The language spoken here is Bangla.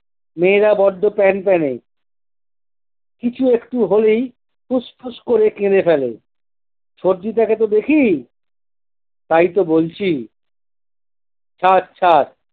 মেয়েরা বড্ডো প্যানপ্যানে। কিছু একটু হলেই ফুস ফুস করে কেঁদে ফেলে। সবজি দেখাতে দেখি, তাইতো বলছি থাক থাক